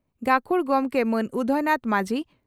ᱜᱟᱹᱠᱷᱩᱲ ᱜᱚᱢᱠᱮ ᱢᱟᱱ ᱩᱫᱚᱭᱱᱟᱛᱷ ᱢᱟᱹᱡᱷᱤ